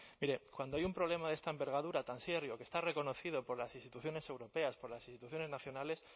mire cuando hay un problema de esta envergadura tan serio que está reconocido por las instituciones europeas por las instituciones nacionales